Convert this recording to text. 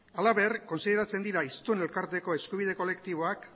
halaber kontsideratzen dira hiztun elkarteko eskubide kolektiboak